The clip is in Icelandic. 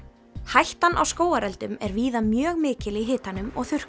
hættan á skógareldum er víða mjög mikil í hitanum og